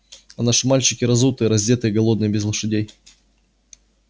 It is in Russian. а наши мальчики разутые раздетые голодные без лошадей